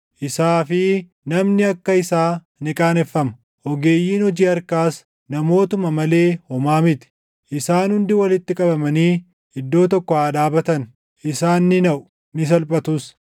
Isaa fi namni akka isaa ni qaaneffama; ogeeyyiin hojii harkaas namootuma malee homaa miti. Isaan hundi walitti qabamanii iddoo tokko haa dhaabatan; isaan ni naʼu; ni salphatus.